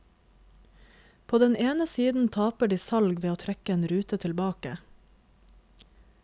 På den ene siden taper de salg ved å trekke en rute tilbake.